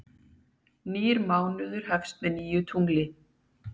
Nýr mánuður hefst með nýju tungli.